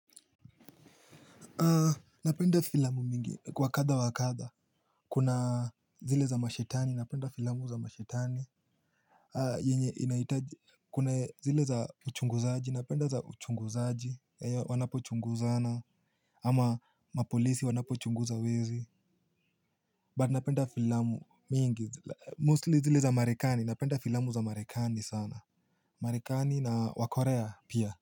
Napenda filamu mingi wa kadha wa kadha kuna zile za mashetani napenda filamu za mashetani yenye inahitaji kuna zile za uchunguzaji napenda za uchunguzaji wanapochunguzana ama mapolisi wanapochunguza wezi but napenda filamu mingi mostly zile za marekani napenda filamu za marekani sana marekani na wakorea pia.